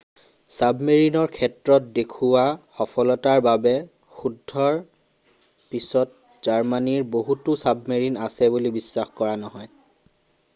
ছাবমেৰিনৰ ক্ষেত্ৰত দেখুওৱা সফলতাৰ বাবে যুদ্ধৰ পিছত জাৰ্মানীৰ বহুতো ছাবমেৰিন আছে বুলি বিশ্বাস কৰা নহয়